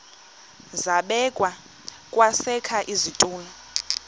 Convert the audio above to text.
zabekwa kwesakhe isitulo